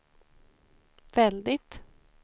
väldigt